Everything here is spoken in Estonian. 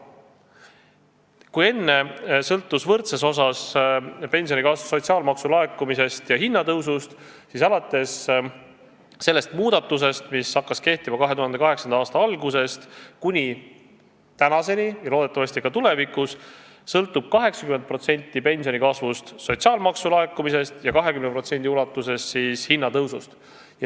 Kui enne sõltus pensionikasv võrdses osas sotsiaalmaksu laekumisest ja hinnatõusust, siis alates sellest muudatusest, mis hakkas kehtima 2008. aasta alguses, kuni tänaseni ja loodetavasti ka tulevikus sõltub 80% pensionikasvust sotsiaalmaksu laekumisest ja 20% hinnatõusust.